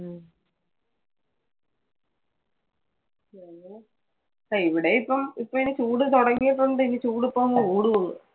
ആ ഇവിടെ ഇപ്പം ഇപ്പൊ ഇനി ചൂട് തുടങ്ങിയപ്പോൾ ഇനി ചൂട് ഇപ്പം അങ്ങ് കുടുകൊള്ളു.